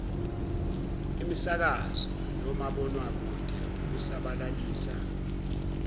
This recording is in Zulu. imisakazo nomabonwakude ukusabalalisa